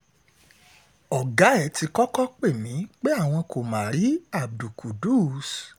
ọ̀gá ẹ̀ ti kọ́kọ́ pè mí pé àwọn kò má rí abdul qudus